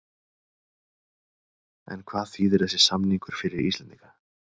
En hvað þýðir þessi samningur fyrir Íslendinga?